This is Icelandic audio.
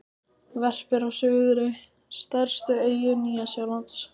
Verpir á Suðurey, stærstu eyju Nýja-Sjálands.